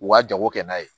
U ka jago kɛ n'a ye